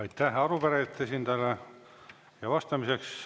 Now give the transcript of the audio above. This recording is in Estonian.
Aitäh arupärijate esindajale!